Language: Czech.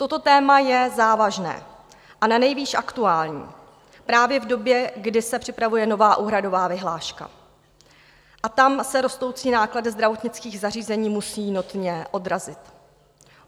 Toto téma je závažné a nanejvýš aktuální právě v době, kdy se připravuje nová úhradová vyhláška, a tam se rostoucí náklady zdravotnických zařízení musí notně odrazit.